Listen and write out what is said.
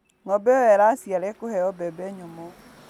Ng'ombe ĩo ĩraciara ĩkũheo mbembe nyũmũ.